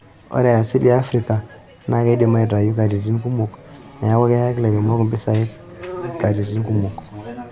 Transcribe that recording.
Ore e asili e Afrika naa keidimi aitayu katitin kumok neeku keyaki lairemok mpisai katititn kumok.